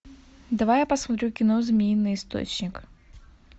давай я посмотрю кино змеиный источник